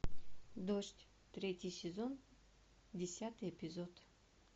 дождь третий сезон десятый эпизод